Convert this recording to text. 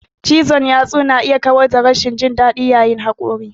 Cizon yatsu na iya kawar da rashin jin daɗi yayin haƙori.